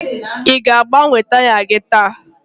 ị ga-agbanwe taya gị taa?